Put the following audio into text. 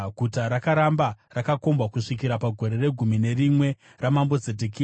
Guta rakaramba rakakombwa kusvikira pagore regumi nerimwe ramambo Zedhekia.